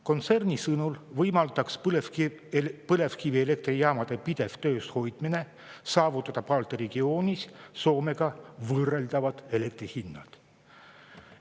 Kontserni sõnul võimaldaks põlevkivielektrijaamade pidev töös hoidmine saavutada Balti regioonis Soomega võrreldavad elektri hinnad.